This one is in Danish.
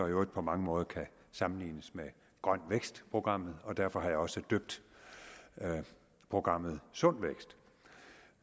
i øvrigt på mange måder kan sammenlignes med grøn vækst programmet derfor har jeg også døbt programmet sund vækst